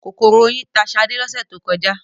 Kòkòrò oyin ta ṣadé lọ́sẹ̀ tó kọjá.